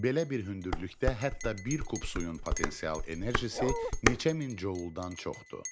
Belə bir hündürlükdə hətta bir kub suyun potensial enerjisi neçə min joule-dan çoxdur.